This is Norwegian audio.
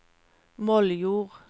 Moldjord